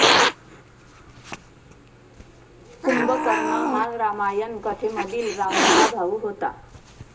कुंभकर्ण हा रामायण कथेमधील रावणाचा भाऊ होता.